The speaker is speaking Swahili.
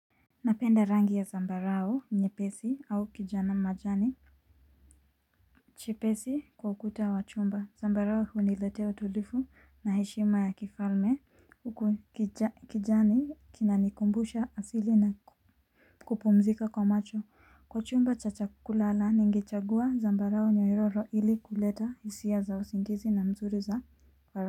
Napenda rangi ya zambarao nyepesi au kijana majani. Chepesi kwa ukuta wa chumba zambarao huniletea utulifu na heshima ya kifalme. Uku kijani kinanikumbusha asili na kupumzika kwa macho kwa chumba cha chakula na ningechagua zambarao nyoyoro ili kuleta hisia za usingizi na mzuri za kwa.